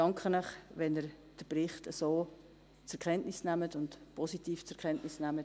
Ich danke Ihnen, wenn Sie den Bericht so zur Kenntnis nehmen und positiv zur Kenntnis nehmen.